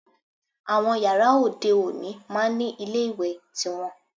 Àwọn yàrá òde òní máá ń ní ilé ìwẹ̀ tiwọn